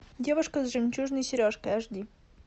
девушка с жемчужной сережкой аш ди